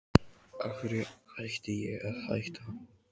Af hverju ætti ég að hætta?